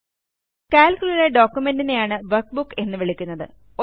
Calcലുള്ള പ്രമാണത്തെയാണ് ഡോക്യുമെന്റിനെയാണ് വർക്ക്ബുക്ക് എന്ന് വിളിക്കുന്നത്